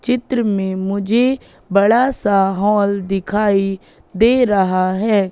चित्र में मुझे बड़ा सा हॉल दिखाई दे रहा है।